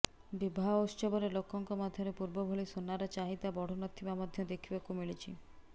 ବିବାହ ଉତ୍ସବରେ ଲୋକଙ୍କ ମଧ୍ୟରେ ପୂର୍ବଭଳି ସୁନାର ଚାହିଦା ବଢ଼ୁ ନ ଥିବା ମଧ୍ୟ ଦେଖିବାକୁ ମିଳିଛି